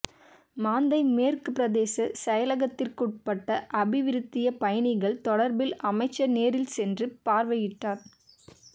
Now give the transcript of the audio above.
மாந்தை மேற்கு பிரதேச செயலகத்திற்குட்பட்ட அபிவிருத்திப் பணிகள் தொடர்பில் அமைச்சர் நேரில் சென்று பார்வையிட்டார்